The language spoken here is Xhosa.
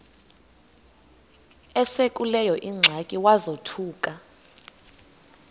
esekuleyo ingxaki wazothuka